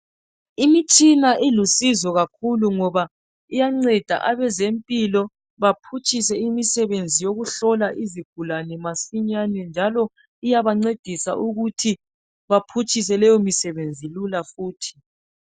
Imitshina ilusizo kakhulu ngoba iyanceda abezempilo baphutshise imisebenzi yokukuhlola izigulane masinyane njalo iyabancedisa ukuthi baphutshise leyo misebenzi lula futhi.